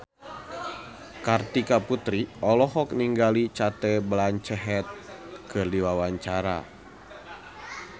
Kartika Putri olohok ningali Cate Blanchett keur diwawancara